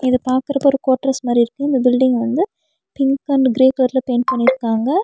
இத பாக்கறப்ப ஒரு கோட்ரஸ் மாரி இருக்கு இந்த பில்டிங் வந்து பிங்க் அண்ட் கிரே கலர்ல பெயிண்ட் பண்ணிருக்காங்க.